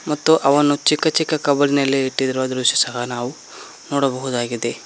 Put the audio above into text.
ಮತ್ತು ಅವನ್ನು ಚಿಕ್ಕ ಚಿಕ್ಕ ಕವರಿನಲ್ಲಿ ಇಟ್ಟಿರುವ ದೃಶ್ಯ ಸಹ ನಾವು ನೋಡಬಹುದಾಗಿದೆ.